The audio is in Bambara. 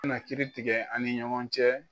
Kana kiri tigɛ an ni ɲɔgɔn cɛ